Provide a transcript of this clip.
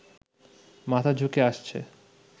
মাথা ঝুঁকে আসছে